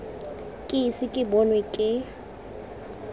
ke ise ke bonwe ke